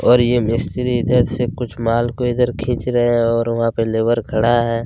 और ये मिस्त्री इधर से कुछ माल को इधर खींच रहे हैं और वहाँ पे लेबर खड़ा है।